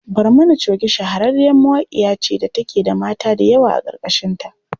Barmani coge shahararriyar mawaƙiya ce da take da mata da yawa a ƙarƙashinta.